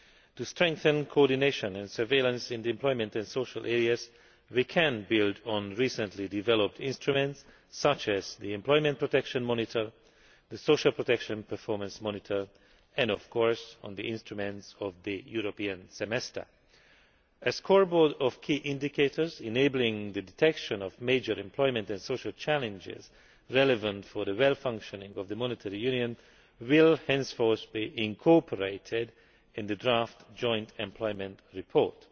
To strengthen coordination and surveillance in the employment and social areas, we can build on recently developed instruments, such as the Employment Protection Monitor, the Social Protection Performance Monitor, and the instruments of the European Semester. A scoreboard of key indicators enabling the detection of major employment and social challenges relevant to the smooth functioning of the monetary union will henceforth be incorporated in the draft joint employment report.